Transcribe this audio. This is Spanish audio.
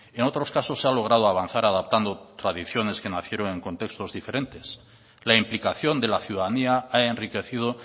en otros casos se ha logrado avanzar adaptando tradiciones que nacieron en contextos diferentes la implicación de la ciudadanía ha enriquecido